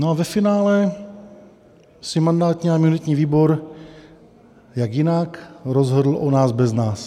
No a ve finále si mandátní a imunitní výbor - jak jinak - rozhodl o nás bez nás.